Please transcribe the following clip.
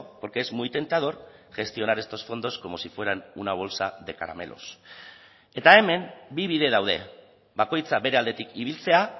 porque es muy tentador gestionar estos fondos como si fueran una bolsa de caramelos eta hemen bi bide daude bakoitza bere aldetik ibiltzea